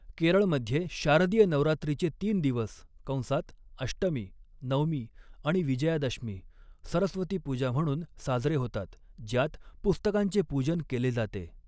केरळमध्ये शारदीय नवरात्रीचे तीन दिवस कंसात अष्टमी, नवमी आणि विजयादशमी सरस्वती पूजा म्हणून साजरे होतात, ज्यात पुस्तकांचे पूजन केले जाते.